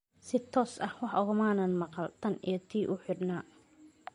Si toos ah wax ugamaanaan maqal, tan iyo intii uu xidhnaa.